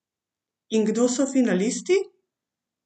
In kdo so finalisti?